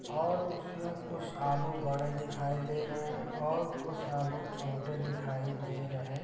और उसमें कुछ आलू बड़े दिखाई दे रहे हैं और कुछ आलू छोटे दिखाई दे रहे --